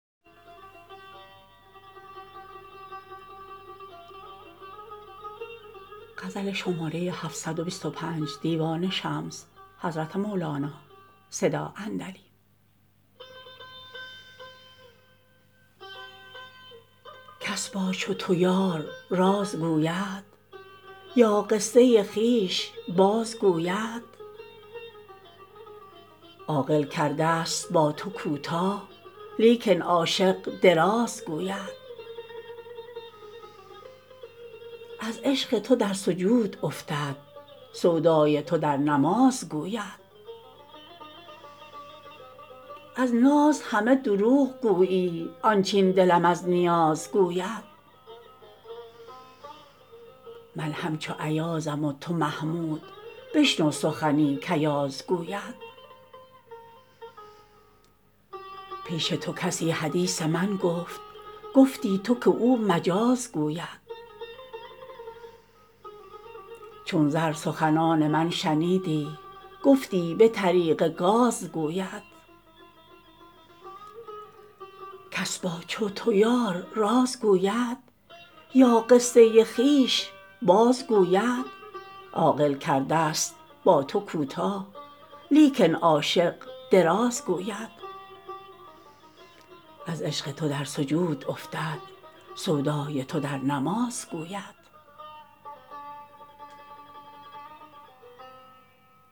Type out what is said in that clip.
کس با چو تو یار راز گوید یا قصه خویش بازگوید عاقل کردست با تو کوتاه لیکن عاشق دراز گوید از عشق تو در سجود افتد سودای تو در نماز گوید از ناز همه دروغ گویی آنچ این دلم از نیاز گوید من همچو ایازم و تو محمود بشنو سخنی کایاز گوید پیش تو کسی حدیث من گفت گفتی تو که او مجاز گوید چون زر سخنان من شنیدی گفتی به طریق گاز گوید